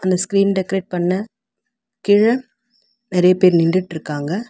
இந்த screen degrade பண்ண கீழ நெறைய பேர் நின்டுட்ருக்காங்க.